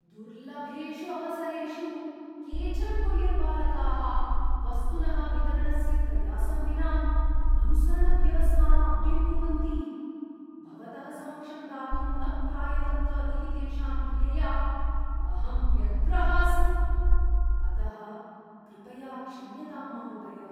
दुर्लभेषु अवसरेषु केचन कोरियर्बालकाः वस्तुनः वितरणस्य प्रयासं विना अनुसरणव्यवस्थाम् अप्डेट् कुर्वन्ति, भवतः समक्षं दातुं न प्रायतन्त इति तेषां क्रियया अहं व्यग्रः अस्मि, अतः कृपया क्षम्यतां, महोदय।